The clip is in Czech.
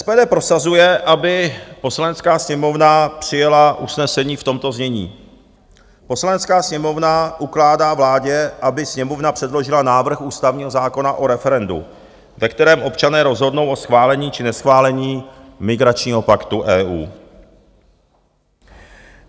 SPD prosazuje, aby Poslanecká sněmovna přijala usnesení v tomto znění: "Poslanecká sněmovna ukládá vládě, aby Sněmovna předložila návrh Ústavního zákona o referendu, ve kterém občané rozhodnou o schválení či neschválení migračního paktu EU."